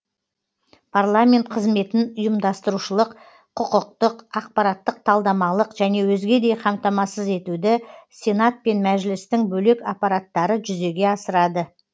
парламент қызметін ұйымдастырушылық құқықтық ақпараттық талдамалық және өзгедей қамтамасыз етуді сенат пен мәжілістің бөлек аппараттары жүзеге асырады